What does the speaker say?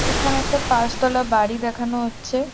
এখানে একটা পাঁচতলা বাড়ি দেখানো হচ্ছে।